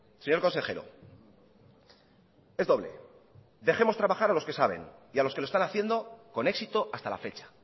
señor consejero es doble dejemos trabajar a los que saben y a los que lo están haciendo con éxito hasta la fecha